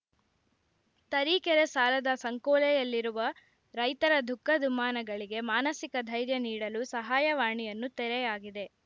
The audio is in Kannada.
ತರೀಕೆರೆ ಸಾಲದ ಸಂಕೋಲೆಯಲ್ಲಿರುವ ರೈತರ ದುಃಖ ದುಮ್ಮಾನಗಳಿಗೆ ಮನಸಿಕ ಧೈರ್ಯ ನೀಡಲು ಸಹಾಯವಾಣಿಯನ್ನು ತೆರೆಯಾಗಿದೆ